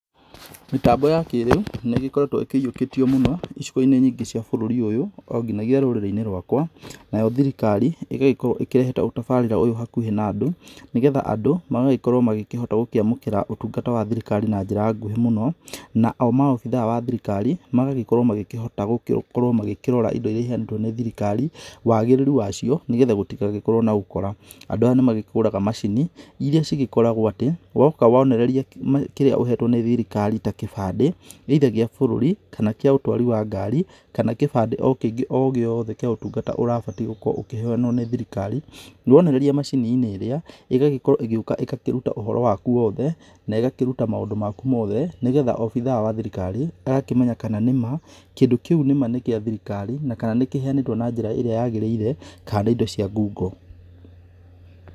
Mĩtambo ya kĩrĩu nĩ ĩgĩkoretwo ĩkĩyiokĩtio mũno icigo-inĩ nyingĩ cia bũrũri ũyũ, onginagia rũrĩrĩ-inĩ rwakwa. Nayo thirikari ĩgagĩkorwo ĩkĩrehete ũtabarĩra ũyũ hakuhĩ na andũ, nĩgetha andũ magagĩkorwo magĩkĩhota gũkũamũkũra ũtungata wa thirikari na njĩra nguhĩ mũno. Nao maobithaa a thirikari magagĩkorwo magĩkĩhota gũgĩkorwo magĩkĩrora indo iria iheyanĩtwo nĩ thirikari wagĩrĩru wacio, nĩgetha gũtigagĩkorwo na ũkora. Andũ aya nĩ magũraga macini iria cigĩkoragwo atĩ woka wonereria kĩrĩa ũhetwo nĩ thirikari ta kĩbandĩ either gĩa bũrũri kana, kĩa ũtwari wa ngari kana kũbandi o kĩngĩ ogĩothe kĩa ũtungata ũrĩa ũbatiĩ gukorwo ũkĩheyanwo nĩ thirikari, wonereria macini-inĩ iria rĩrĩa ĩgũkorwo ĩgĩũka ĩgakĩruta ũhoro waku wothe na ĩgakĩruta maũndũ maku mothe nĩgetha obithaa wa thirikari agakĩmenya kana nĩ ma, kĩndũ kĩu nĩma nĩ gĩa thirikari na kana nĩ kĩheyanĩtwo na njĩra ĩria yagĩrĩire, na kana nĩ indo cia ngungo.